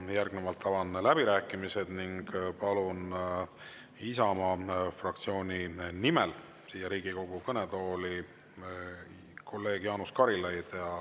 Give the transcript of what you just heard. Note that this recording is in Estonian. Järgnevalt avan läbirääkimised ning palun Isamaa fraktsiooni nimel siia Riigikogu kõnetooli kolleeg Jaanus Karilaiu.